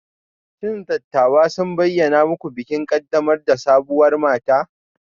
Shin dattawan sun bayyana muku bikin ƙaddamar da sabuwar mata?